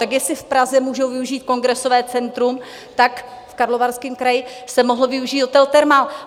Tak jestli v Praze můžou využít Kongresové centrum, tak v Karlovarském kraji se mohl využít hotel Thermal.